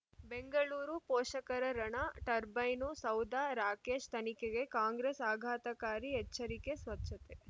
ಬೆಂಗಳೂರು ಪೋಷಕರರಣ ಟರ್ಬೈನು ಸೌಧ ರಾಕೇಶ್ ತನಿಖೆಗೆ ಕಾಂಗ್ರೆಸ್ ಆಘಾತಕಾರಿ ಎಚ್ಚರಿಕೆ ಸ್ವಚ್ಛತೆ